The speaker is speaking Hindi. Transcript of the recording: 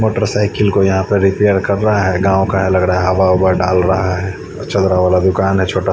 मोटरसाइकिल को यहा पे रिपेयर कर रहा है गाव का है लग रहा है हवा ववा डाल रहा है चलरा वारा दुकान है छोटा--